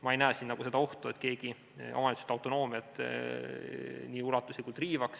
Ma ei näe siin seda ohtu, et keegi omavalitsuste autonoomiat nii ulatuslikult riivaks.